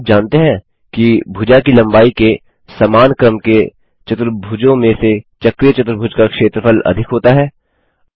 क्या आप जानते हैं कि भुजा की लम्बाई के समान क्रम के चतुर्भुजों में से चक्रीय चतुर्भुज का क्षेत्रफल अधिक होता है